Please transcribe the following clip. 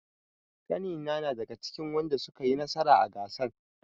Ƙanina na daga cikin wadanda suka yi nasara a gasan.